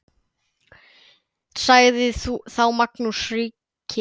Sagði þá Magnús ríki